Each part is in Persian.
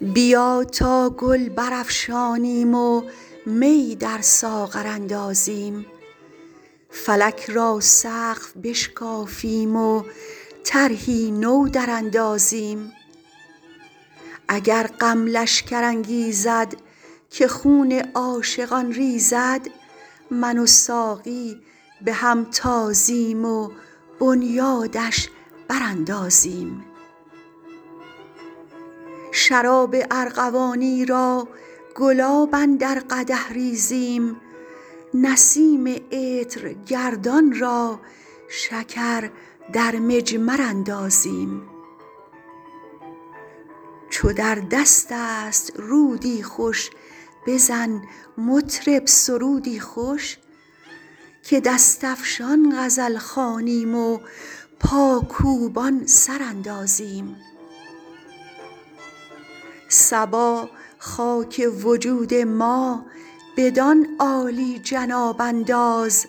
بیا تا گل برافشانیم و می در ساغر اندازیم فلک را سقف بشکافیم و طرحی نو دراندازیم اگر غم لشکر انگیزد که خون عاشقان ریزد من و ساقی به هم تازیم و بنیادش براندازیم شراب ارغوانی را گلاب اندر قدح ریزیم نسیم عطرگردان را شکر در مجمر اندازیم چو در دست است رودی خوش بزن مطرب سرودی خوش که دست افشان غزل خوانیم و پاکوبان سر اندازیم صبا خاک وجود ما بدان عالی جناب انداز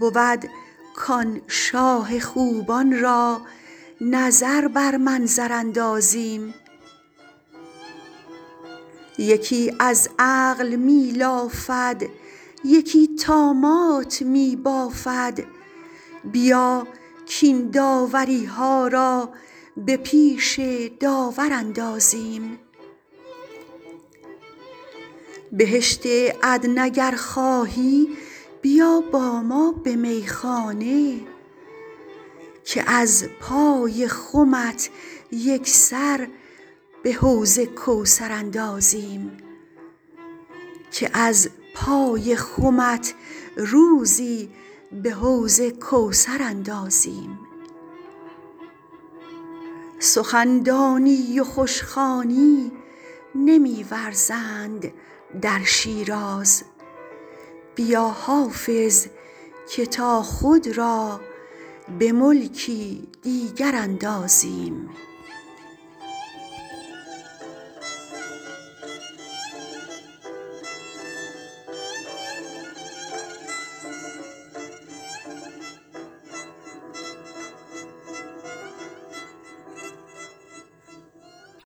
بود کآن شاه خوبان را نظر بر منظر اندازیم یکی از عقل می لافد یکی طامات می بافد بیا کاین داوری ها را به پیش داور اندازیم بهشت عدن اگر خواهی بیا با ما به میخانه که از پای خمت روزی به حوض کوثر اندازیم سخن دانی و خوش خوانی نمی ورزند در شیراز بیا حافظ که تا خود را به ملکی دیگر اندازیم